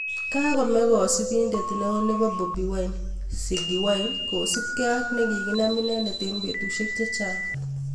Kagome kasubinet neo nebo bobi wine:Ziggy wine kosupke ak kiginam inendet eng betusiek chechang